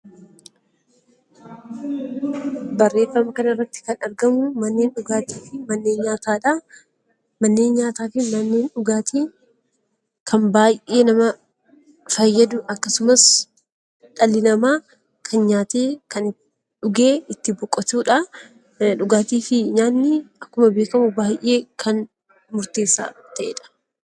Manneen nyaataa fi manneen dhugaatii kan baay'ee nama fayyadu akkasumas dhalli namaa kan nyaatee dhugee itti boqotudha. Dhugaatii fi nyaanni akkuma beekamu baay'ee murteessaa kan ta'edha